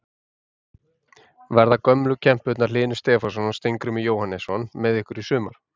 Verða gömlu kempurnar Hlynur Stefánsson og Steingrímur Jóhannesson með ykkur í sumar?